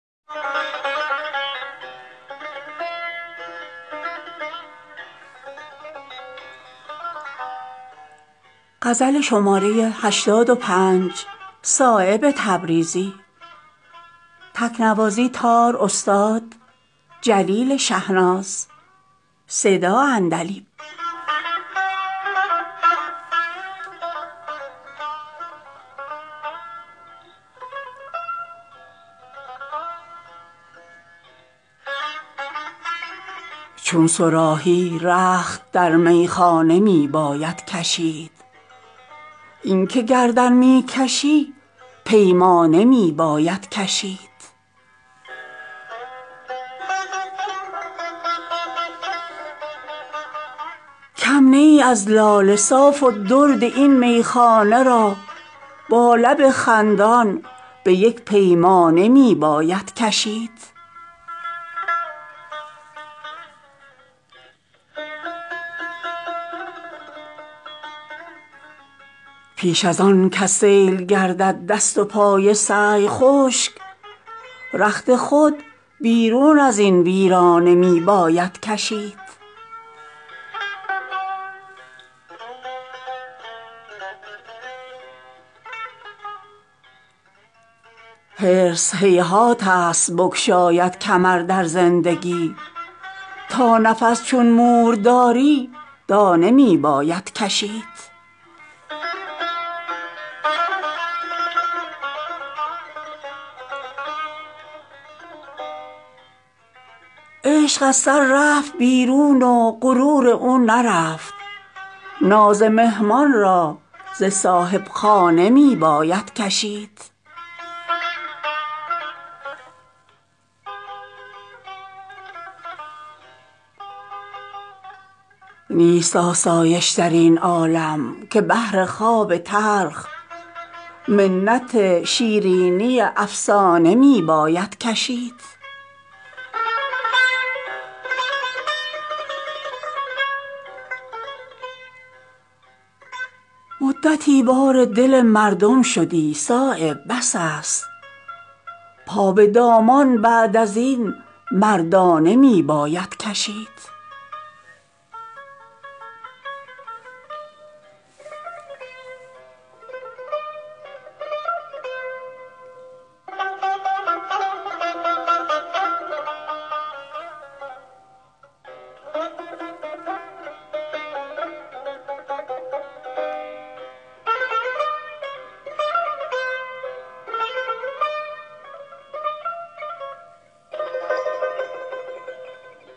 چون صراحی رخت در میخانه می باید کشید این که گردن می کشی پیمانه می باید کشید کم نه ای از لاله صاف و درد این میخانه را با لب خندان به یک پیمانه می باید کشید می شود سنگین زبار خلق میزان حساب سختی از اطفال چون دیوانه می باید کشید نیل چشم زخم می باید وصال گنج را ناز جغد ای گوشه ویرانه می باید کشید پیش ازان کز سیل گردد دست و پای سعی خشک رخت خود بیرون ازین ویرانه می باید کشید حرص هیهات است بگشاید کمر در زندگی تا نفس چون مور داری دانه می باید کشید خلوت فانوس جای شمع عالمسوز نیست این الف بر سینه پروانه می باید کشید تا چون ابر و مطلع برجسته ای انشا کنی عمرها زلف سخن را شانه می باید کشید می کند با آن قد موزون نظر بازی به شمع سرمه ای در دیده پروانه می باید کشید دل زقرب زلف نزدیک است خود را گم کند اندکی زنجیر این دیوانه می باید کشید عشق از سر رفت بیرون و غرور او نرفت ناز مهمان را زصاحبخانه می باید کشید نیست آسایش درین عالم که بهر خواب تلخ منت شیرینی افسانه می باید کشید از خط مشکین غرور آن سمنبر کم نشد ناز گل از سبزه بیگانه می باید کشید در بهارستان یکتایی بلند و پست نیست ناز خار و گل به یک دندانه می باید کشید مدتی بار دل مردم شدی صایب بس است پا به دامن بعد ازین مردانه می باید کشید